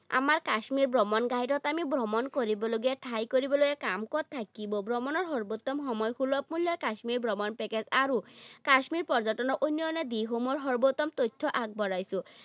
আমাৰ কাশ্মীৰ ভ্ৰমণ guide ত আমি ভ্ৰমণ কৰিবলগীয়া ঠাই, কৰিবলগীয়া কাম, ক'ত থাকিব, ভ্ৰমণৰ সৰ্বোত্তম সময়, সুলভ মূল্যৰ কাশ্মীৰ ভ্ৰমণ package, আৰু কাশ্মীৰ পৰ্যটনৰ উন্নয়নৰ দিশসমূহৰ সৰ্বোত্তম তথ্য আগবঢ়াইছো।